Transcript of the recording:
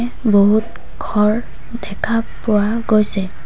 বহুত ঘৰ দেখা পোৱা গৈছে।